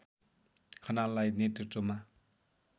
खनाललाई नेतृत्वमा